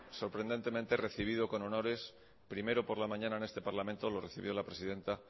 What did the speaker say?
sorprendentemente recibido con honores primero por la mañana en este parlamento lo recibió la presidenta